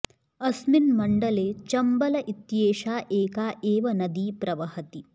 अस्मिन् मण्डले चम्बल इत्येषा एका एव नदी प्रवहति